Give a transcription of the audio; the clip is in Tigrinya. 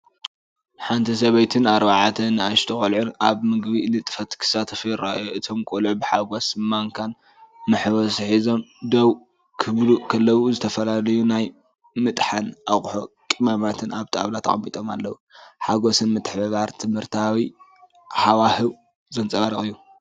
ሓንቲ ሰበይትን ኣርባዕተ ንኣሽቱ ቆልዑን ኣብ ምግቢ ንጥፈት ክሳተፉ ይረኣዩ። እቶም ቆልዑ ብሓጎስ ማንካን መሕወሲን ሒዞም ደው ክብሉ ከለዉ፡ ዝተፈላለዩ ናይ ምጥሓን ኣቕሑን ቀመማትን ኣብ ጣውላ ተቐሚጦም ኣለዉ። ሓጎስን ምትሕብባርን ትምህርታዊን ሃዋህው ዘንጸባርቕ እዩ።